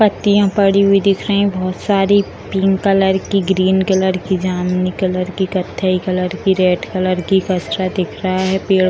पत्तियां पड़ी हुई दिख रही है बहुत सारी पिंक कलर की ग्रीन कलर की जामुनी कलर की कत्थई कलर की रेड कलर की कचड़ा दिख रहा है पेड़ --